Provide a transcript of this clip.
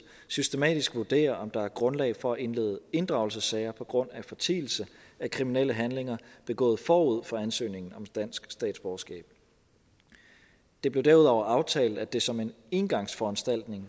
systematisk vurderer om der er grundlag for at indlede inddragelsessager på grund af fortielse af kriminelle handlinger begået forud for ansøgningen om dansk statsborgerskab det blev derudover aftalt at det som en engangsforanstaltning